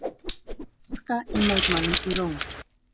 Harka í mótmælum í Róm